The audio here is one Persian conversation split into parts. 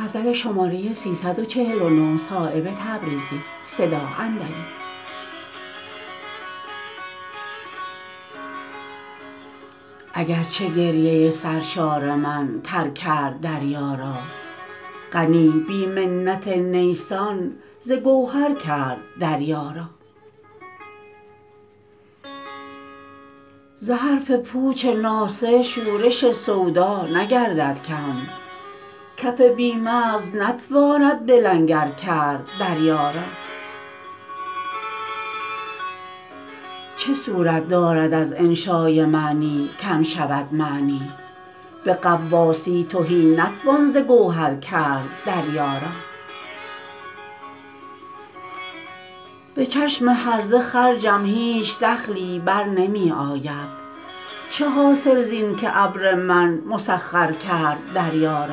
اگر چه گریه سرشار من تر کرد دریا را غنی بی منت نیسان ز گوهر کرد دریا را ز حرف پوچ ناصح شورش سودا نگردد کم کف بی مغز نتواند به لنگر کرد دریا را چه صورت دارد از انشای معنی کم شود معنی به غواصی تهی نتوان ز گوهر کرد دریا را به چشم هرزه خرجم هیچ دخلی برنمی آید چه حاصل زین که ابر من مسخر کرد دریا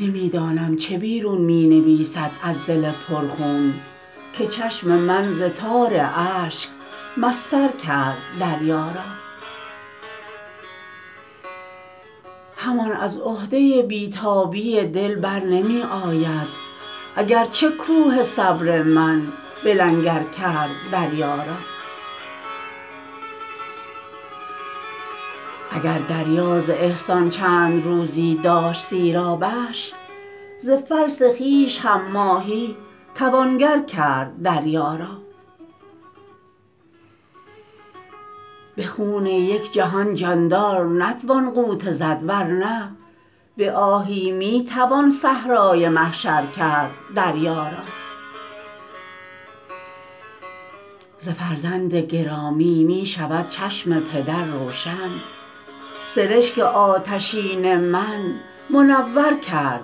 را نمی دانم چه بیرون می نویسد از دل پر خون که چشم من ز تار اشک مسطر کرد دریا را همان از عهده بی تابی دل برنمی آید اگر چه کوه صبر من به لنگر کرد دریا را اگر دریا ز احسان چند روزی داشت سیرابش ز فلس خویش هم ماهی توانگر کرد دریا را به خون یک جهان جاندار نتوان غوطه زد ورنه به آهی می توان صحرای محشر کرد دریا را ز فرزند گرامی می شود چشم پدر روشن سرشک آتشین من منور کرد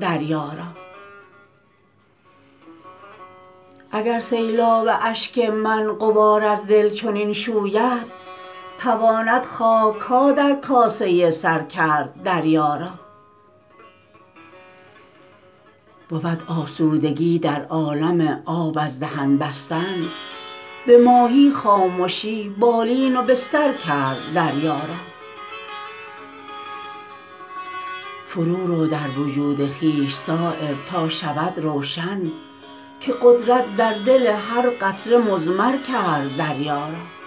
دریا را اگر سیلاب اشک من غبار از دل چنین شوید تواند خاک ها در کاسه سر کرد دریا را بود آسودگی در عالم آب از دهن بستن به ماهی خامشی بالین و بستر کرد دریا را فرو رو در وجود خویش صایب تا شود روشن که قدرت در دل هر قطره مضمر کرد دریا را